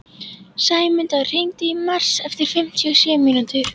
Sæmunda, hringdu í Mars eftir fimmtíu og sjö mínútur.